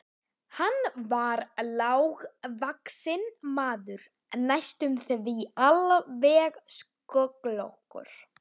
Hann var lágvaxinn maður næstum því alveg sköllóttur.